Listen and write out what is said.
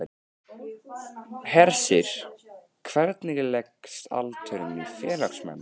Hersir, hvernig leggst aldurinn í félagsmenn?